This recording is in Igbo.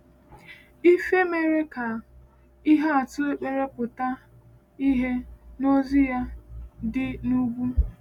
Ife mere ka ihe atụ ekpere pụta ìhè n’Ozi ya dị n’Ugwu.